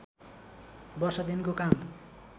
वर्ष दिनको काम